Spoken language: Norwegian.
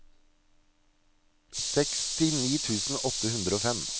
sekstini tusen åtte hundre og fem